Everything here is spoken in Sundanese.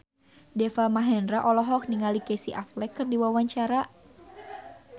Deva Mahendra olohok ningali Casey Affleck keur diwawancara